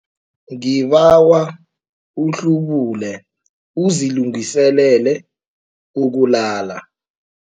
Ngibawa uhlubule uzilungiselele ukulala.